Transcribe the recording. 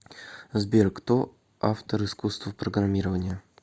сбер кто автор искусство программирования